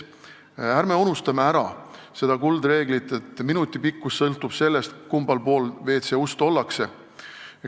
Ärme unustame ära kuldreeglit, et minuti pikkus sõltub sellest, kummal pool WC ust ollakse.